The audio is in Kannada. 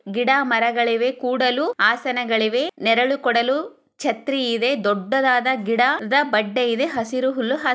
ಗಿಡ ಮರಗಳಿವೆ ಕೂಡಲು ಆಸನಗಳಿವೆ ನೆರಳು ಕೊಡಲು ಛತ್ರಿ ಇದೆ. ದೂಡ್ಡದಾದ ಗಿಡದ ಬಂಡೆ ಇದೆ ಹಸಿರೂ ಹುಲ್ಲು--